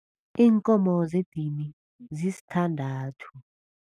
Iinkomo zedini zisithandathu.